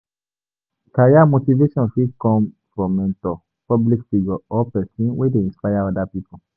Career motivation fit come from mentor, public figure or person wey dey inspire oda pipo